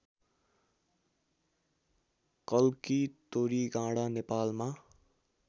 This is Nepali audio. कल्की तोरीगाँडा नेपालमा